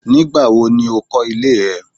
Nígbà wo ni ó kọ́ ilé ẹ.?